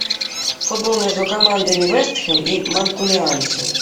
футбол между командами вест хэм и манкунианцы